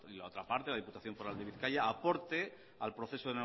la otra parte la diputación foral de bizkaia aporte al proceso